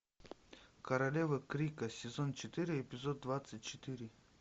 королевы крика сезон четыре эпизод двадцать четыре